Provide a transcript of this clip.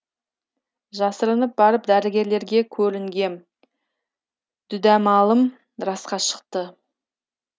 жасырынып барып дәрігерлерге көрінгем дүдәмалым расқа шықты